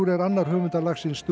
er annar höfunda lagsins do